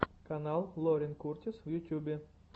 канал лорен куртис в ютьюбе